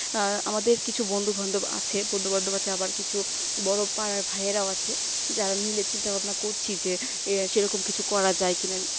আহ আমাদের কিছু বন্ধু বান্ধব আছে বন্ধুবান্ধব আছে আবার কিছু বড় পাড়ার ভাইরাও আছে যারা মিলে সব চিন্তা ভাবনা করছে যে সেরকম কিছু করা যায় কিনা